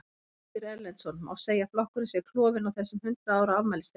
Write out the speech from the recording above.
Ásgeir Erlendsson: Má segja að flokkurinn sé klofinn á þessum hundrað ára afmælisdegi?